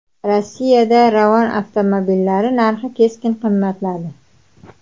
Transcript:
Rossiyada Ravon avtomobillari narxi keskin qimmatladi.